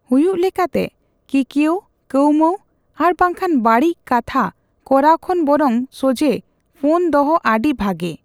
ᱦᱩᱭᱩᱜ ᱞᱮᱠᱟᱛᱮ, ᱠᱤᱠᱣᱟᱹᱣᱼᱠᱟᱹᱣᱢᱟᱹᱣ ᱟᱨ ᱵᱟᱝᱠᱷᱟᱱ ᱵᱟᱹᱲᱤᱡ ᱠᱟᱛᱷᱟ ᱠᱚᱨᱟᱣ ᱠᱷᱚᱱ ᱵᱚᱨᱚᱝ ᱥᱚᱡᱦᱮ ᱯᱷᱚᱱ ᱫᱚᱦᱚ ᱟᱹᱰᱤ ᱵᱷᱟᱜᱮ ᱾